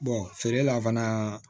feere la fana